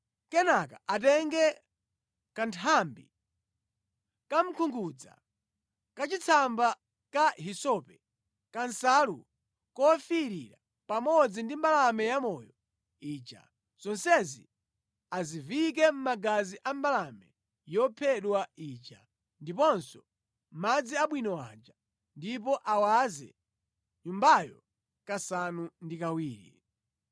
Kenaka atenge kanthambi kamkungudza, kachitsamba ka hisope, kansalu kofiirira pamodzi ndi mbalame yamoyo ija, zonsezi aziviyike mʼmagazi a mbalame yophedwa ija, ndiponso mʼmadzi abwino aja, ndipo awaze nyumbayo kasanu ndi kawiri